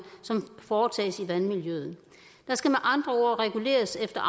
som foretages i vandmiljøet der skal med andre ord reguleres efter